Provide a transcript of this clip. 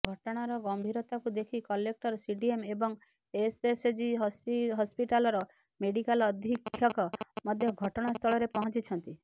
ଘଟଣାର ଗମ୍ଭୀରତାକୁ ଦେଖି କଲେକ୍ଟର ସିଡିଏମ ଏବଂ ଏସଏସଜି ହସ୍ପିଟାଲର ମେଡିକାଲ ଅଧୀକ୍ଷକ ମଧ୍ୟ ଘଟଣାସ୍ଥଳରେ ପହଞ୍ଚିଛନ୍ତି